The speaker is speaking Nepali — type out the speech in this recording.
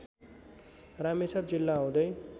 रामेछाप जिल्ला हुँदै